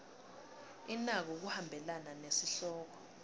inako kuhambelana nesihloko